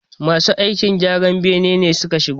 Masu aikin gyran bayi ne suka shigo